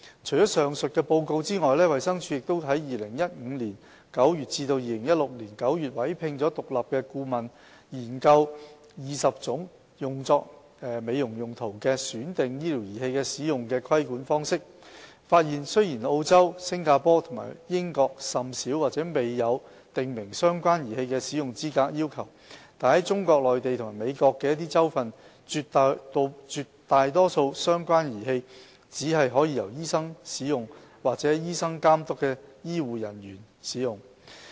除上述報告外，衞生署亦於2015年9月至2016年9月委聘了獨立顧問研究20種用作美容用途的選定醫療儀器的使用規管方式，發現雖然澳洲、新加坡和英國甚少或沒有訂明相關儀器的使用資格要求，但在中國內地和美國的一些州份，絕大多數相關的儀器只可由醫生使用或在醫生監督下的醫護人員使用。